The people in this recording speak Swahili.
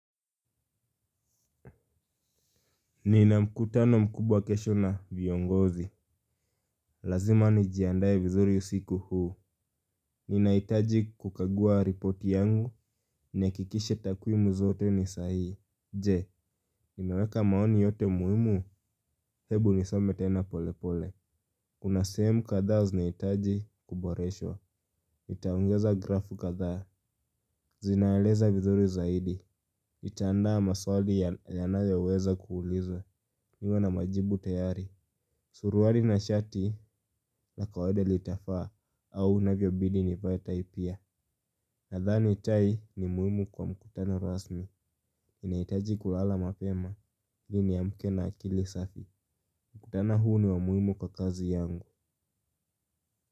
Ni na mkutano mkubwa kesho na viongozi. Lazima nijiandae vizuri siku huu. Ninahitaji kukagua ripoti yangu. Ni hakikishe takumu zote ni sahii. Je, unaweka maoni yote muhimu. Hebu niseme tena pole pole. Kuna sehemu kadhaa zinahitaji kuboreshwq nitaongeza graph kadhaa. Zinaeleza vizuri zaidi. Nitaandaa maswali yanayoweza kuulizwa. Niko na majibu tayari. Suruali na shati la kawaida litafaa au navyobidi nivae tai pia. Nadhani tai ni muhimu kwa mkutano rasmi ninahitaji kulala mapema ili niamke na akili safi mkutano huu ni wa muhimu kwa kazi yangu.